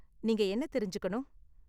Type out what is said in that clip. நீங்க என்ன தெரிஞ்சுக்கணும்?